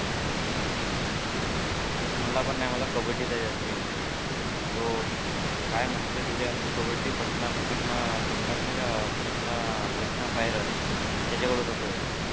मला पण नाही मला कबड्डीत आहे जास्त interest हो काय मस्त खेळतो यार तो कबड्डी पाटणा पाटणा पाटणार नाहीका पाटणा पाटणा पायरट्स